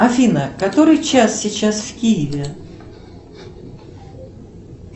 афина который час сейчас в киеве